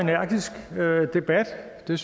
det